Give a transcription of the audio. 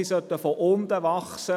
Sie sollten von unten wachsen.